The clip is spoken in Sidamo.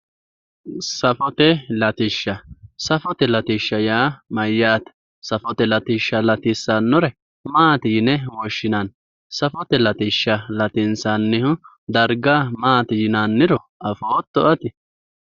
Safote latishsha, safote latishsha yaa mayate, safote latishsha latisanore maati yinne woshshinanni, safote latishsha latinsannihu darga maati yinnanniro afootto ati?